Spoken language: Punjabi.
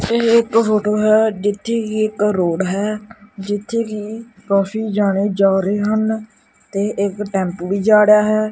ਇਹ ਇੱਕ ਫੋਟੋ ਹੈ ਜਿੱਥੇ ਕਿ ਇੱਕ ਰੋਡ ਹੈ ਜਿੱਥੇ ਕਿ ਕਾਫੀ ਜਾਣੇ ਜਾ ਰਹੇ ਹਨ ਤੇ ਇੱਕ ਟੈਂਪੂ ਵੀ ਜਾ ੜਿਆ ਹੈ।